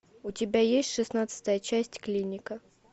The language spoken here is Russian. у тебя есть шестнадцатая часть клиника